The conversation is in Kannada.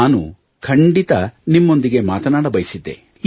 ನಾನು ಖಂಡಿತ ನಿಮ್ಮೊಂದಿಗೆ ಮಾತನಾಡ ಬಯಸಿದ್ದೆ